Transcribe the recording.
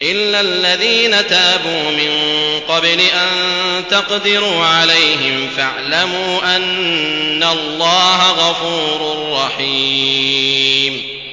إِلَّا الَّذِينَ تَابُوا مِن قَبْلِ أَن تَقْدِرُوا عَلَيْهِمْ ۖ فَاعْلَمُوا أَنَّ اللَّهَ غَفُورٌ رَّحِيمٌ